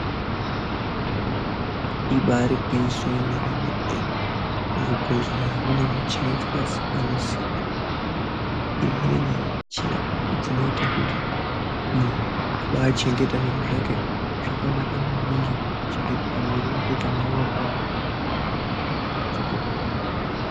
Ibari ngwinyisa remene mene muzvibhedhlera mune michini dzakasiyana siyana. Imweni yemichini dzinoite kuti muntu aba chengete zviro zvake zvakanaka maningi kana kuchetedza mwiri wake kana worwara.